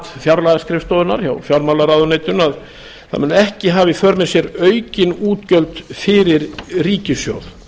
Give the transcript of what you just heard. fjárlagaskrifstofunnar hjá fjármálaráðuneytinu að það muni ekki hafa í för með sér aukin útgjöld fyrir ríkissjóð